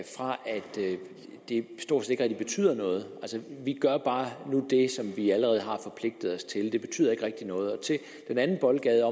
det stort set ikke rigtig betyder noget vi gør bare nu det som vi allerede har forpligtet os til det betyder ikke rigtig noget til i den anden boldgade